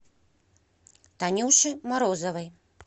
танюше морозовой